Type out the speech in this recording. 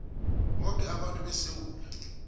boke abantu besewula